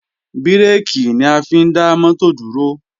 Bírèkì ni a fi ń dá mọ́tò dúró